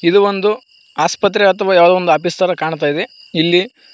ಇದು ಒಂದು ಆಸ್ಪತ್ರೆ ಅಥವಾ ಯಾವುದೋ ಒಂದು ಆಫೀಸ್ ತರ ಕಾಣಿಸ್ತಾ ಇದೆ ಇಲ್ಲಿ.